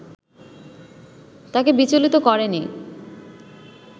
তাঁকে বিচলিত করেনি